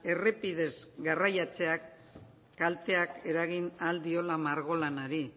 errepidez garraiatzeak kalteak eragin ahal diola margolanari